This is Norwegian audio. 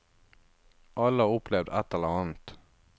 Alle har opplevd ett eller annet.